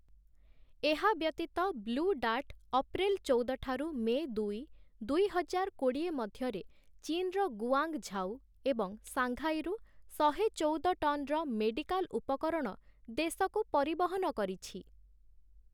ଏହା ବ୍ୟତୀତ Blue Dart April ଚଉଦ ଠାରୁ ମେ ଦୁଇ, ଦୁଇ ହଜାର କୋଡ଼ିଏ ମଧ୍ୟରେ ଚୀନର ଗୁଆଙ୍ଗ ଝାଉ ଏବଂ ସାଙ୍ଘାଇରୁ ଶହେ ଚଉଦ ଟନ୍‌ର ମେଡିକାଲ ଉପକରଣ ଦେଶକୁ ପରିବହନ କରିଛି ।